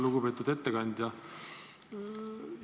Lugupeetud ettekandja!